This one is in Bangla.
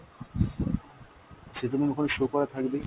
সে তো ma'am ওখানে show করা থাকবেই।